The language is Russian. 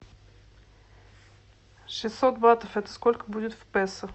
шестьсот батов это сколько будет в песо